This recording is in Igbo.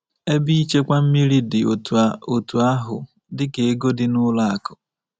Ebe ịchekwa mmiri dị otú otú ahụ dịka ego dị n’ụlọ akụ̀.